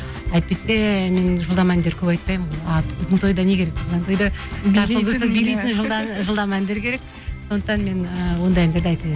әйтпесе мен жылдам әндер көп айтпаймын ғой а біздің тойда не керек біздің тойда билейтін жылдам әндер керек сондықтан мен ыыы ондай әндерді айта